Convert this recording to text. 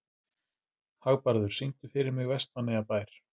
Hagbarður, syngdu fyrir mig „Vestmannaeyjabær“.